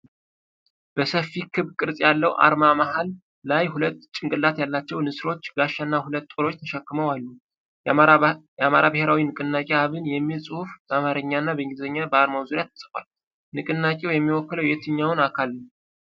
በሰፊ ክብ ቅርጽ ያለው አርማ መሃል ላይ ሁለት ጭንቅላት ያላቸው ንስሮች ጋሻና ሁለት ጦሮችን ተሸክመው አሉ። የአማራ ብሔራዊ ንቅናቄ (አብን) የሚል ጽሑፍ በአማርኛና በእንግሊዝኛ በአርማው ዙሪያ ተጽፏል፤ ንቅናቄው የሚወክለው የትኛውን አካል ነው?